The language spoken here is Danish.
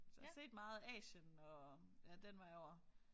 Så jeg har set meget af Asien og ja den vej over